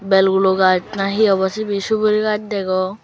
belgulo gaas na hi obw sibey sugri gaas degong.